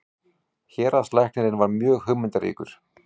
Héraðslæknirinn var mjög hugmyndaríkur.